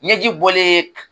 Ɲɛji bɔlen